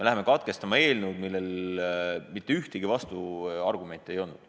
Me hakkame eelnõu menetlemist katkestama, kuigi ühtegi vastuargumenti ei olnud.